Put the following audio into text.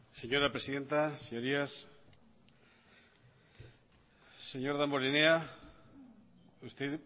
señora presidenta señorías señor damborenea usted